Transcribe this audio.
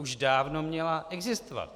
Už dávno měla existovat.